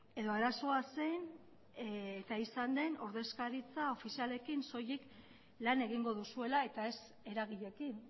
edo arazoa zen eta izan den ordezkaritza ofizialekin soilik lan egingo duzuela eta ez eragileekin